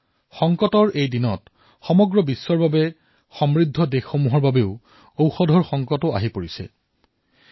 সংকটৰ এই সময়ছোৱাত বিশ্বৰ বাবেও সমৃদ্ধ দেশৰ বাবেও ঔষধৰ সংকটে পূৰ্ণমাত্ৰাই দেখা দিছে